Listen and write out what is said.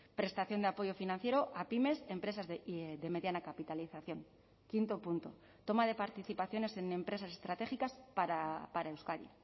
prestación de apoyo financiero a pymes empresas de mediana capitalización quinto punto toma de participaciones en empresas estratégicas para euskadi